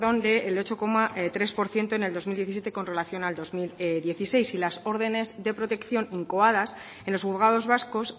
perdón del ocho coma tres por ciento en el dos mil diecisiete con relación al dos mil dieciséis y las órdenes de protección incoadas en los juzgados vascos